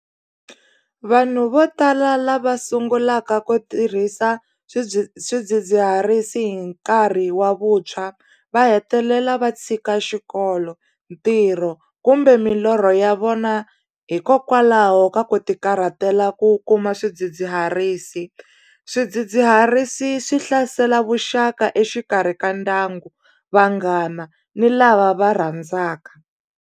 Vanhu vo tala lava sungulaka ku tirhisa swidzidziharisi hi nkarhi wa vuntshwa va hetelela va tshika xikolo ntirho kumbe milorho ya vona hikokwalaho ka ku ti karhatela ku kuma swidzidziharisi swidzidziharisi swi hlasela vuxaka exikarhi ka ndyangu vanghana ni lava va rhandzaka.